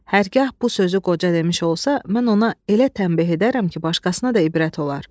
Hərgah bu sözü qoca demiş olsa, mən ona elə təmbeh edərəm ki, başqasına da ibrət olar.